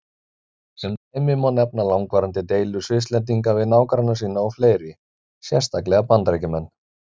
Sem dæmi má nefna langvarandi deilur Svisslendinga við nágranna sína og fleiri, sérstaklega Bandaríkjamenn.